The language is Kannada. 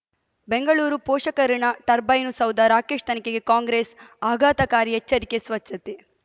ಬೆಂಗಳೂರು ಪೋಷಕರಋಣ ಟರ್ಬೈನು ಸೌಧ ರಾಕೇಶ್ ತನಿಖೆಗೆ ಕಾಂಗ್ರೆಸ್ ಆಘಾತಕಾರಿ ಎಚ್ಚರಿಕೆ ಸ್ವಚ್ಛತೆ